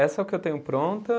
Essa é o que eu tenho pronta.